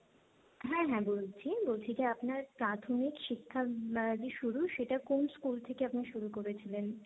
হ্যাঁ, হ্যাঁ বলছি। বলছি যে আপনার প্রাথমিক শিক্ষা যে শুরু সেটা কোন স্কুল থেকে আপনার শুরু করেছিলেন।